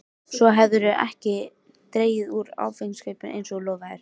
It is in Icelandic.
Svo hefurðu ekki dregið úr áfengiskaupunum eins og þú lofaðir.